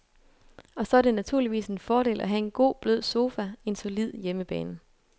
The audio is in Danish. Og så er det naturligvis en fordel at have en god, blød sofa, en solid hjemmebane.